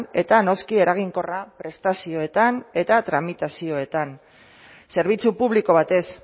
eta noski eraginkorra prestazioetan eta tramitazioan zerbitzu publiko batez